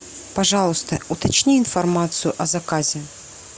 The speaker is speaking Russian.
пожалуйста уточни информацию о заказе